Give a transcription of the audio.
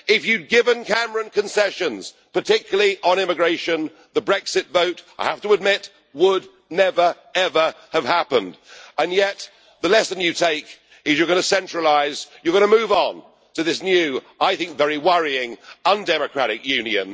If you had given Cameron concessions, particularly on immigration, the Brexit vote I have to admit would never ever have happened, and yet the lesson you take is that you are going to centralise and you are going to move on to this new I think very worrying undemocratic union.